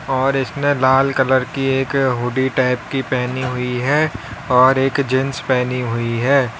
और इसने लाल कलर की एक हुडी टाइप की पहनी हुई है और एक जींस पहनी हुई है।